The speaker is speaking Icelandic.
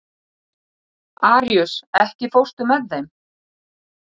Aríus, ekki fórstu með þeim?